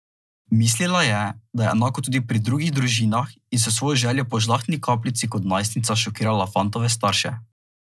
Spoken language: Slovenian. Mislila je, da je enako tudi pri drugih družinah in s svojo željo po žlahtni kapljici kot najstnica šokirala fantove starše.